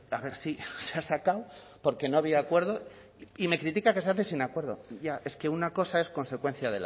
a ver sí se ha sacado porque no había acuerdo y me critica que se hace sin acuerdo ya es que una cosa es consecuencia